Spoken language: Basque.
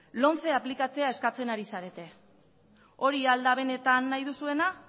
lomce aplikatzea eskatzen ari zarete hori al da benetan nahi duzuena